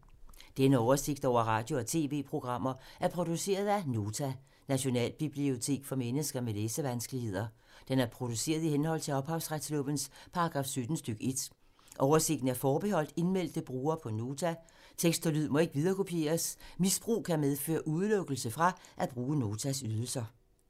Denne oversigt over radio og TV-programmer er produceret af Nota, Nationalbibliotek for mennesker med læsevanskeligheder. Den er produceret i henhold til ophavsretslovens paragraf 17 stk. 1. Oversigten er forbeholdt indmeldte brugere på Nota. Tekst og lyd må ikke viderekopieres. Misbrug kan medføre udelukkelse fra at bruge Notas ydelser.